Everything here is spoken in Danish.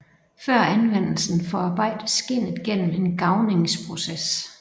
Før anvendelsen forarbejdes skindet gennem en garvningsproces